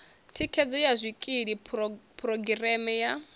thikhedzo ya zwikili phurogireme ya